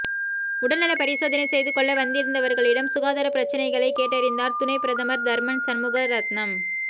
உடல்நலப் பரிசோதனை செய்துகொள்ள வந்திருந்தவர்களிடம் சுகாதாரப் பிரச்சினைகளைக் கேட்டறிந்தார் துணைப் பிரதமர் தர்மன் சண்முகரத்னம்